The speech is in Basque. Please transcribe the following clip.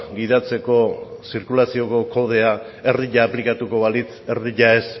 gidatzeko zirkulazioko kodea erdia aplikatuko balitz eta erdia ez